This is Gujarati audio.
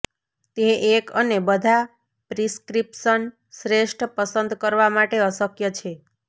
તે એક અને બધા પ્રિસ્ક્રિપ્શન શ્રેષ્ઠ પસંદ કરવા માટે અશક્ય છે